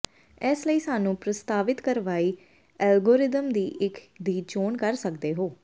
ਇਸ ਲਈ ਸਾਨੂੰ ਪ੍ਰਸਤਾਵਿਤ ਕਾਰਵਾਈ ਐਲਗੋਰਿਥਮ ਦੀ ਇੱਕ ਦੀ ਚੋਣ ਕਰ ਸਕਦੇ ਹੋ